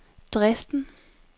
Dresden